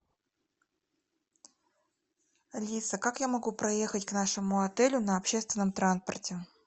алиса как я могу проехать к нашему отелю на общественном транспорте